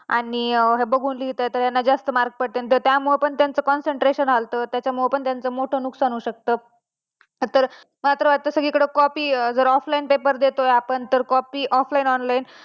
आणि बघून लिहीत आहेत तर याना जास्त mark पडतील तर त्यामुळे पण त्यांचा concentration हालत आणि त्या मुले पण त्यांचं मोठं नुकसान होऊ शकत तर आता मात्र सगळी कडे copy जर offline paper देतोय आपण जर copy offline online